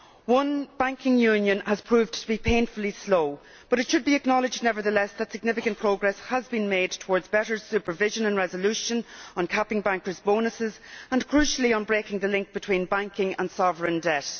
One banking union has proved to be painfully slow, but it should be acknowledged nevertheless that significant progress has been made towards better supervision and resolution, on capping bankers' bonuses and, crucially, on breaking the link between banking and sovereign debt.